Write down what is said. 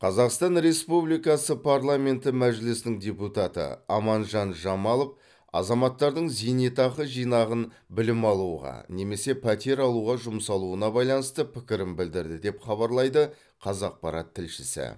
қазақстан республикасы парламенті мәжілісінің депутаты аманжан жамалов азаматтардың зейнетақы жинағын білім алуға немесе пәтер алуға жұмсалуына байланысты пікірін білдірді деп хабарлайды қазақпарат тілшісі